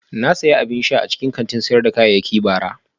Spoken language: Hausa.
Na sayi abin sha a cikin kantin sayar da kayayyaki bara